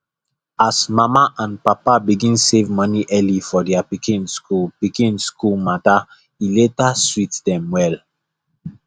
as mama and papa begin save money early for their pikin school pikin school matter e later sweet them well